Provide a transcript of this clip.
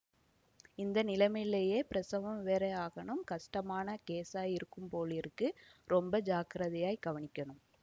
இந்த நிலைமையிலே பிரசவம் வேறே ஆகணும் கஷ்டமான கேஸா இருக்கும் போலிருக்கு ரொம்ப ஜாக்கிரதையாய்க் கவனிக்கணும்